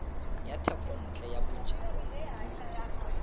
ya thekontle ya bojalwa bo